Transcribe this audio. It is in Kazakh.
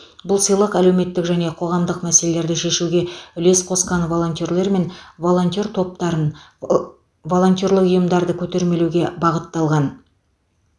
бұл сыйлық әлеуметтік және қоғамдық мәселелерді шешуге үлес қосқан волонтерлер мен волонтер топтарын ы волонтерлік ұйымдарды көтермелеуге бағытталған